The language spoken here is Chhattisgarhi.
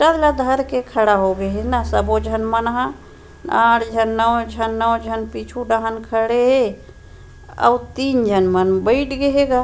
पोस्टर ल धर के खड़ा होंगे हे ना सबो झन मन ह आठ झन नौ झन नौ झन पीछू डाहन खड़े हे अउ तीन झन मन बइठ गे हे गा --